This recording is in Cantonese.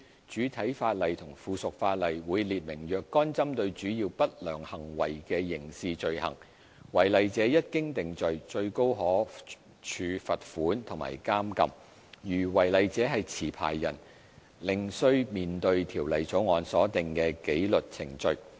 主體法例和附屬法例會列明若干針對主要不良行為的刑事罪行，違例者一經定罪，最高可處罰款和監禁；如違例者是持牌人，另須面對《條例草案》所訂的紀律程序。